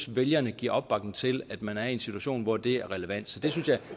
vælgerne giver opbakning til at man er i en situation hvor det er relevant